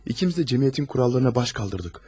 İkimiz də cəmiyyətin qaydalarına baş qaldırdıq.